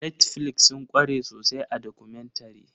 Netflix sun kware sosai a documentary.